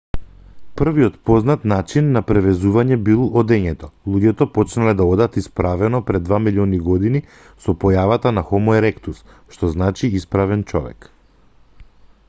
првиот познат начин на превезување бил одењето; луѓето почнале да одат исправено пред два милиони години со појавата на хомо еректус што значи исправен човек